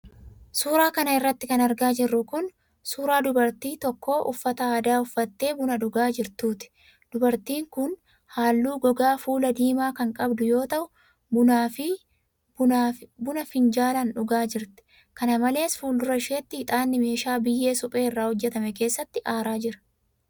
Suura kana irratti kan argaa jirru kun, suura dubartii tokkoo uffata aadaa uffattee buna dhugaa jirtuuti. Dubartiin kun haalluu gogaa fulaa diimaa kan qabdu yoo ta'u, buna finjaalaan dhugaa jirti. Kana malees, fuuldura isheetti ixaanni meeshaa biyyee suphee irraa hojjatame keessatti aaraa jira.